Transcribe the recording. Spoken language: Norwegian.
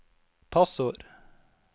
passord